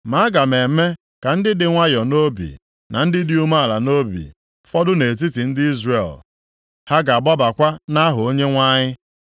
Ma aga m eme ka ndị dị nwayọọ nʼobi, na ndị dị umeala nʼobi fọdụ nʼetiti ndị Izrel, ha ga-agbabakwa + 3:12 Ya bụ, tụkwasị obi nʼaha Onyenwe anyị.